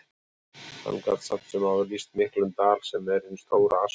Hann gat samt sem áður lýst miklum dal, sem er hin stóra Askja.